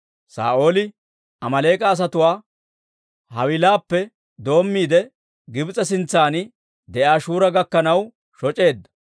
Saa'ooli Amaaleek'a asatuwaa Hawiilappe doommiide, Gibs'e sintsan de'iyaa Shura gakkanaw shoc'eedda.